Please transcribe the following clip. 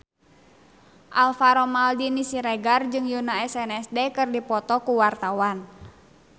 Alvaro Maldini Siregar jeung Yoona SNSD keur dipoto ku wartawan